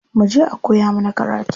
Muje a koya mana karatu.